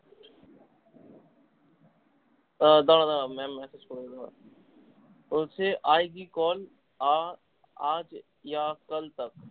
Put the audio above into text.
আহ দারা দারা বলছে I do call